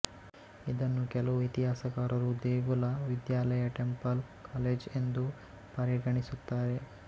ಇದನ್ನು ಕೆಲವು ಇತಿಹಾಸಕಾರರು ದೇಗುಲ ವಿದ್ಯಾಲಯ ಟೆಂಪಲ್ ಕಾಲೇಜ್ ಎಂದೂ ಪರಿಗಣಿಸುತ್ತಾರೆ